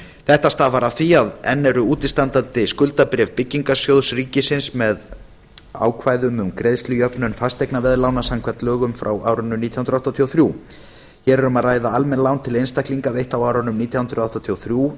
þetta stafar af því að enn eru útistandandi skuldabréf byggingarsjóðs ríkisins með ákvæðum um greiðslujöfnun fasteignaveðlána samkvæmt lögum frá árinu nítján hundruð áttatíu og þrjú hér er um að ræða almenn lán til einstaklinga veitt á árunum nítján hundruð áttatíu og þrjú til